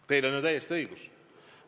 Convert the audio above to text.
Teil on täiesti õigus.